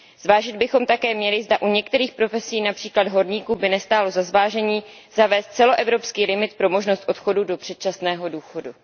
Zvážit bychom také měli, zda u některých profesí, například horníků, by nestálo za zvážení zavést celoevropský limit pro možnost odchodu do předčasného důchodu.